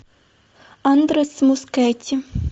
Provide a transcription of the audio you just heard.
андрес мускетти